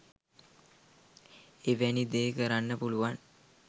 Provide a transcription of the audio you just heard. එවැනි දේ කරන්න පුළුවන්